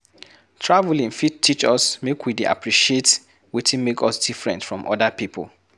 Travelling fit teach us make we dey appreciate wetin make us different from other pipo